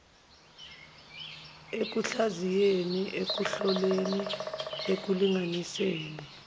ekuhlaziyeni ekuhloleni ekulinganiseni